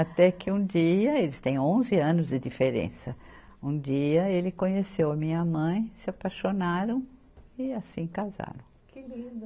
Até que um dia, eles têm onze anos de diferença, um dia ele conheceu a minha mãe, se apaixonaram e assim casaram. Que lindo